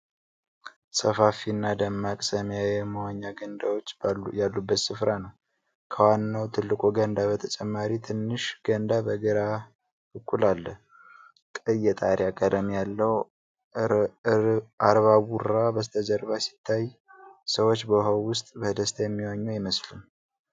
ሰፋፊና ደማቅ ሰማያዊ የመዋኛ ገንዳዎች ያሉበት ሥፍራ ነው። ከዋናው ትልቁ ገንዳ በተጨማሪ፣ ትንሽ ገንዳ በግራ በኩል አለ። ቀይ የጣሪያ ቀለም ያለው አርባቡራ በስተጀርባ ሲታይ፣ ሰዎች በውሃው ውስጥ በደስታ የሚዋኙ አይመስልም?